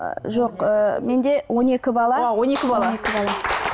жоқ ы менде он екі бала он екі бала